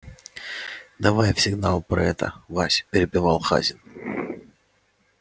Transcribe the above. давай в сигнал про это вась перебивал хазин